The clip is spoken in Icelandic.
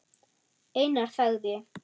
Einar þagði.